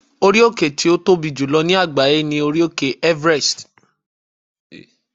orí òkè ti o Tobi jùlọ ní àgbáyé ni orí òkè Everest